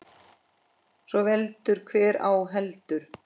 Svo veldur hver á heldur.